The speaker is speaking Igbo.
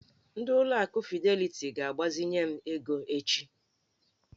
Ndị ụlọ akụ fideliti ga-agbazinye m ego echi.